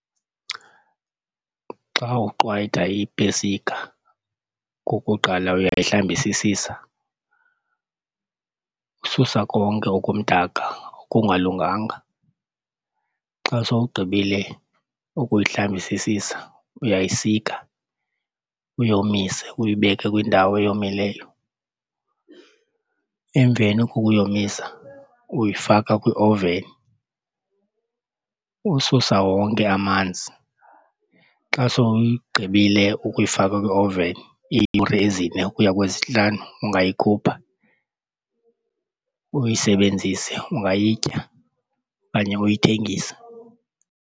Xa uqwayita iipesika okokuqala uyayihlambisisisa ususa konke okumdaka okungalunganga. Xa sowugqibile ukuyihlambisisisa uyayisika uyomise uyibeke kwindawo eyomileyo. Emveni kokuyomisa uyifaka kwiowuveni ususa wonke amanzi. Xa sowuyigqibile ukuyifaka kwiowuveni iiyure ezine ukuya kwezintlanu ungayikhupha uyisebenzise, ungayitya okanye uyithengise.